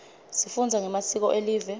sifunza ngemasiko elive